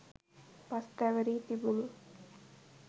පස් තැවරී තිබුණි.